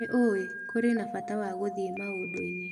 Nĩ ũĩ, kũrĩ na bata wa gũthiĩ maũndũ-inĩ